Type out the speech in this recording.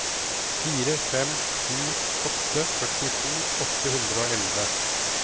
fire fem sju åtte førtito åtte hundre og elleve